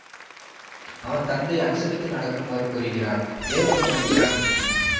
அவன் தந்தை அனுசரித்து நடக்குமாறு கூறுகிறார் ஏற்க மறுக்கிறான் விக்கி